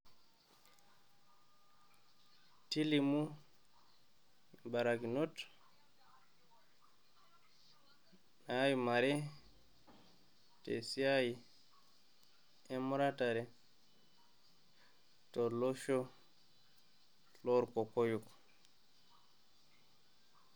Tlimu imbarakinot naaimare tesiai emuratishore, tolosho lorkokoyo